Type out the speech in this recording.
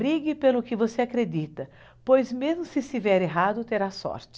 Brigue pelo que você acredita, pois mesmo se estiver errado, terá sorte.